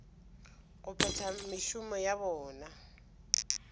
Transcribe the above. go phetha mešomo ya bona